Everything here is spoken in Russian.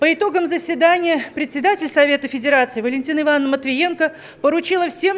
по итогам заседания председатель совета федерации валентина ивановна матвиенко поручила всем